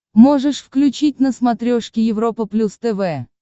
можешь включить на смотрешке европа плюс тв